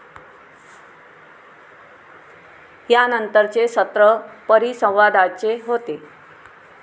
यानंतरचे सत्र परिसंवादाचे होते.